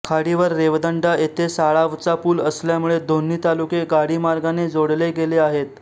खाडीवर रेवदंडा येथे साळावचा पुल असल्यामुळे दोन्ही तालुके गाडीमार्गाने जोडले गेले आहेत